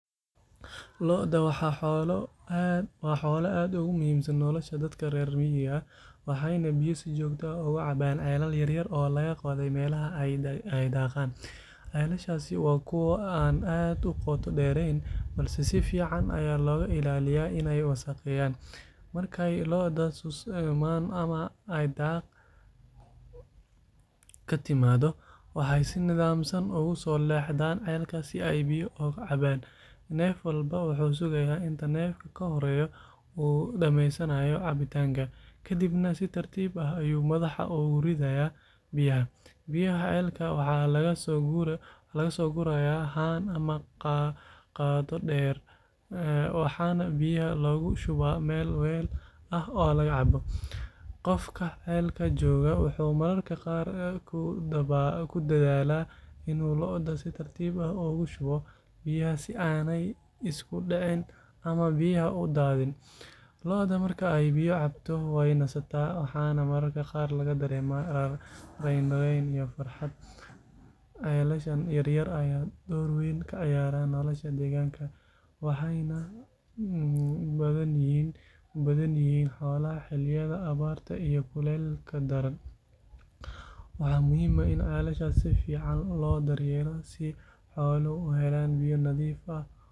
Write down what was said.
Lo’da waa xoolo aad ugu muhiimsan nolosha dadka reer miyiga ah, waxayna biyo si joogto ah uga cabaan ceelal yaryar oo laga qoday meelaha ay daaqaan. Ceelashaasi waa kuwo aan aad u qoto dheerayn, balse si fiican ayaa looga ilaaliyaa inay wasakheeyaan. Markay lo’da susmaan ama ay daaq ka timaado, waxay si nidaamsan ugu soo leexdaan ceelka si ay biyo uga cabbaan. Neef walba wuxuu sugayaa inta neefka ka horreeya uu dhamaysanayo cabitaanka, kadibna si tartiib ah ayuu madaxa ugu ridayaa biyaha. Biyaha ceelka waxa laga soo gurayaa haan ama qaaddo dheer, waxaana biyaha loogu shubaa meel weel ah oo laga cabbo. Qofka ceelka joogaa wuxuu mararka qaar ku dadaalaa inuu lo’da si tartiib ah ugu shubo biyaha si aanay isugu dhicin ama biyaha u daadin. Lo’da marka ay biyo cabto, way nasataa waxaana mararka qaar laga dareemaa raynrayn iyo farxad. Ceelashan yaryar ayaa door weyn ka ciyaara nolosha deegaanka, waxayna badbaadin u yihiin xoolaha xilliyada abaarta iyo kulaylka daran. Waxaa muhiim ah in ceelashaas si fiican loo daryeelo si xooluhu u helaan biyo nadiif ah.